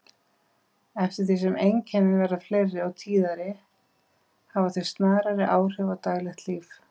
Eftir því sem einkennin verða fleiri og tíðari hafa þau snarari áhrif á daglegt líf.